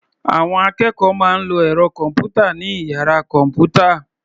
Àwọn akẹ́kọ̀ọ́ máa ń lọ ẹ̀rọ kọ̀m̀pútà ní ìyára kọ̀m̀pútà